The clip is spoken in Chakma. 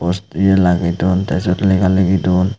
ye lagey duon te seot lega ligi duon.